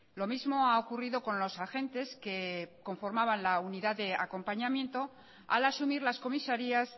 lo mismo ha ocurrido con los agentes que conformaban la unidad de acompañamiento al asumir las comisarías